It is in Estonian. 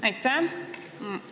Aitäh!